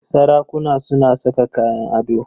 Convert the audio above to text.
Sarakuna suna saka kayan ado.